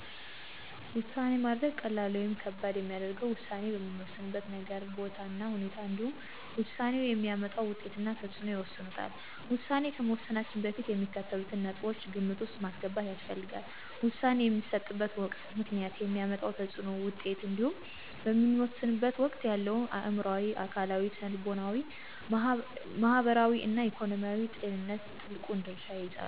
ውሳኔ ማድረግ ቀላል ወይም ከባድ የሚያደርገው ውሳኔ በምንወስንበት ነገር፣ ቦታ እና ሁናቴ እንዲሁም ውሳኔው የሚያመጣው ውጤት እና ተፅዕኖ ይወስኑታል። ውሳኔ ከመወሰናችን በፊት የሚከተሉትን ነጥቦች ግምት ውስጥ ማስገባት ያስፈልጋል። - ውሳኔ የሚሰጥበት ወቅት፣ ምክንያት፣ የሚያመጣው ተፅዕኖና ውጤት እንዲሁም በምንወሰንበት ወቅት ያለንበት አዕምሮአዊ፣ አካላዊ፣ ስነልቦናዊ፣ ማህበራዊ እና ኢኮኖሚያዊ ጤንነት ትልቁን ድርሻ ይይዛሉ።